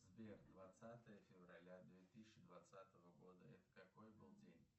сбер двадцатое февраля две тысячи двадцатого года это какой был день